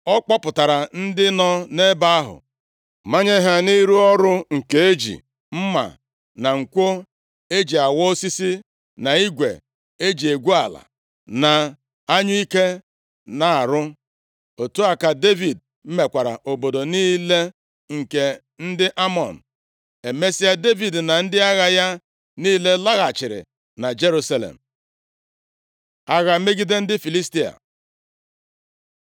Ọ kpọpụtara ndị nọ nʼebe ahụ, manye ha nʼịrụ ọrụ nke e ji mma nkwọ e ji awa osisi, na igwe e ji egwu ala, na anyụike na-arụ. Otu a ka Devid mekwara obodo niile nke ndị Amọn. Emesịa, Devid na ndị agha ya niile laghachiri na Jerusalem. Agha megide ndị Filistia